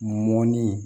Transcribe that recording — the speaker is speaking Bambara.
Mɔnnin